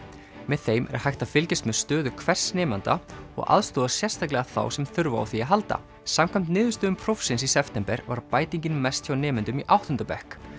með þeim er hægt að fylgjast með stöðu hvers nemanda og aðstoða sérstaklega þá sem þurfa á því að halda samkvæmt niðurstöðum prófsins í september var bætingin mest hjá nemendum í áttunda bekk